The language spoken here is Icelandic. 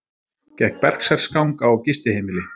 Gekk berserksgang á gistiheimili